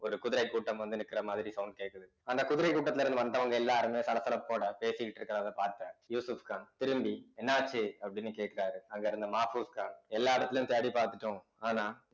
ஒரு குதிரை கூட்டம் வந்து நிற்கிற மாதிரி sound கேட்குது அந்த குதிரை கூட்டத்துல இருந்து வந்தவங்க எல்லாருமே சலசலப்போட பேசிக்கிட்டு இருக்கிறதை பார்த்த யூசுப்கான் திரும்பி என்ன ஆச்சு அப்படின்னு கேட்கிறாரு அங்க இருந்த மாபோஸ்கான் எல்லா இடத்திலேயும் தேடி பார்த்துட்டோம் ஆனா